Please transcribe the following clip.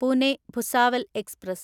Pune Bhusawal express